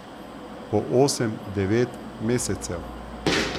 Po osem, devet mesecev.